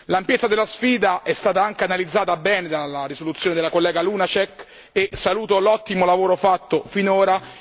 L'ampiezza della sfida è stata anche analizzata bene dalla risoluzione della collega Lunacek e saluto l'ottimo lavoro fatto finora.